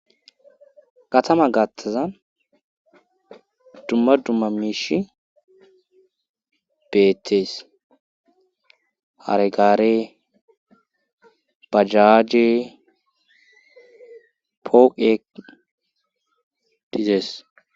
Katama gattazan dumma dumma miishi beettees haregare bajaje poeq dizees